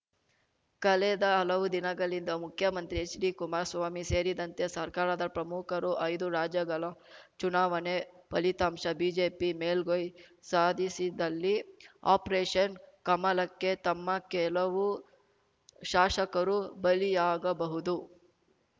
ಕಳೆದ ಹಲವು ದಿನಗಳಿಂದ ಮುಖ್ಯಮಂತ್ರಿ ಎಚ್‌ಡಿಕುಮಾರಸ್ವಾಮಿ ಸೇರಿದಂತೆ ಸರ್ಕಾರದ ಪ್ರಮುಖರು ಐದು ರಾಜ್ಯಗಳ ಚುನಾವಣೆ ಫಲಿತಾಂಶ ಬಿಜೆಪಿ ಮೇಲ್ಗೈ ಸಾಧಿಸಿದ್ದಲ್ಲಿ ಆಪರೇಷನ್‌ ಕಮಲಕ್ಕೆ ತಮ್ಮ ಕೆಲವು ಶಾಸಕರು ಬಲಿಯಾಗಬಹುದು